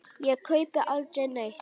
Ég kaupi aldrei neitt.